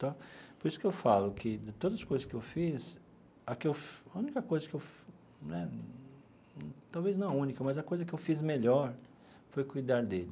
Tal por isso que eu falo que, de todas as coisas que eu fiz, a que eu fiz a única que eu fiz né, talvez não a única, mas a coisa que eu fiz melhor foi cuidar dele.